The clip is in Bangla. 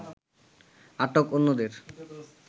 আটক অন্যদের